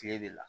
Kile de la